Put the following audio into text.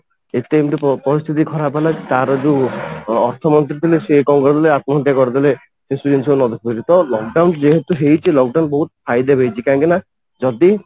ଏତେ ଏମିତି ପରିସ୍ଥିତି ହେଲା ର ଯୋଉ ଅର୍ଥମନ୍ତ୍ରୀ ଥିଲେ ସେ କଣ କଲେ ଆତ୍ମହତ୍ୟା କରିଦେଲେ ସେସବୁ ଜିନିଷ ତ lock down ଯେହେତୁ ହେଇଚି lock down ବହୁତ ଫାଇଦା ବି ହେଇଚି କାହିଁକି ନା ଯଦି